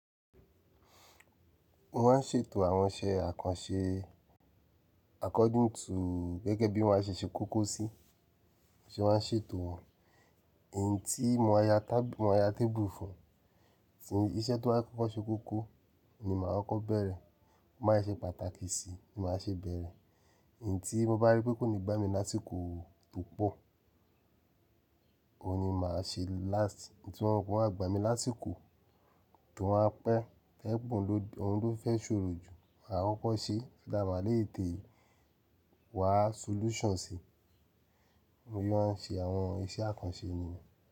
Wọ́n á ṣètò àwọn iṣẹ́ àkànṣe according to gẹ́gẹ́ bí wọ́n ṣe ṣẹ́ kókó sí, ṣé wọ́n ṣètò wọn. Ẹ̀yin tí mo máa ya tábìl, mo máa ya tébù fún, tí iṣẹ́ tó báa kọ́kọ́ ṣe kókó ni màá kọ́ bẹ̀rẹ̀. Mo máa ṣe pàtàkì si ni màá ṣe bẹ̀rẹ̀. Ẹ̀yin tí mo bá rí pé kò ní gbá mi lásìkò tó pọ̀, òun ni màá ṣe last. Ẹ̀yin tí mọ́ mò má gbá mi lásìkò, tó wọ́n á pẹ́, òhùn ló, òun ló fẹ́ ṣòro jù, màá kọ́kọ́ ṣe, láà màá le tẹ̀ wá solution sí. Mo yóò máa ń ṣe àwọn iṣẹ́ àkànṣe ni.